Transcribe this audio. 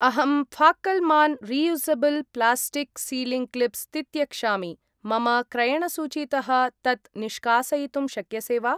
अहं फाक्कल्मान् reusable plastic sealing clips तित्यक्षामि, मम क्रयणसूचीतः तत् निष्कासयितुं शक्यसे वा?